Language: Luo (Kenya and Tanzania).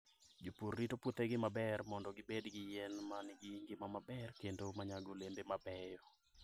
Jopur rito puothegi maber mondo gibed gi yien ma nigi ngima maber kendo ma nyago olembe mabeyo.